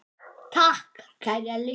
Takk, kæri Elli.